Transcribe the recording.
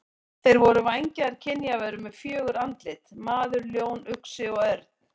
Þeir voru vængjaðar kynjaverur með fjögur andlit: maður, ljón, uxi og örn.